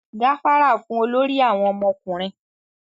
gafara fún olórí àwọn ọmọkùnrin!